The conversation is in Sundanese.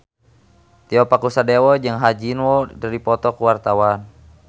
Tio Pakusadewo jeung Ha Ji Won keur dipoto ku wartawan